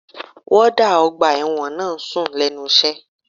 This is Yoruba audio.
Wọ́ọ́dà ọgbà ẹ̀wọ̀n náà ń sùn lẹ́nu iṣẹ́